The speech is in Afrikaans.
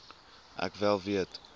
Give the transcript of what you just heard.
ek wel weet